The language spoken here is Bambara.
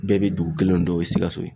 Bɛɛ be dugu kelen dɔn ye sikaso ye